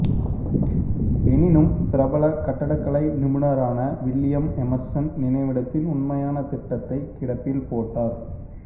எனினும் பிரபல கட்டடக் கலை நிபுணரான வில்லியம் எமர்சன் நினைவிடத்தின் உண்மையான திட்டத்தைக் கிடப்பில் போட்டார்